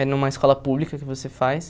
É numa escola pública que você faz.